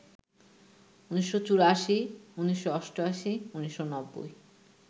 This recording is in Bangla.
১৯৮৪, ১৯৮৮, ১৯৯০